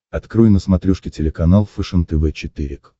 открой на смотрешке телеканал фэшен тв четыре к